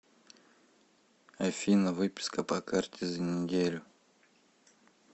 афина выписка по карте за неделю